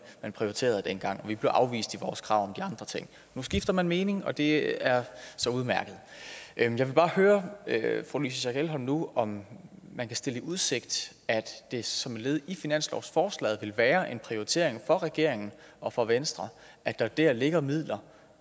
man prioriterede dengang og vi blev afvist i vores krav om andre ting nu skifter man mening og det er så udmærket jeg vil bare høre fru louise schack elholm nu om man kan stille i udsigt at det som led i finanslovsforslaget vil være en prioritering for regeringen og for venstre at der ligger midler